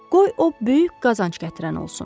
Qoy o böyük qazanc gətirən olsun.